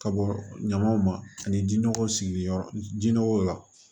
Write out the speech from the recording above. Ka bɔ ɲamanw ma ani ji nɔgɔw sigi yɔrɔ jinɛko la